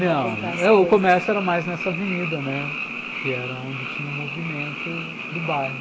Não, o comércio era mais nessa avenida, né, que era onde tinha o movimento do bairro.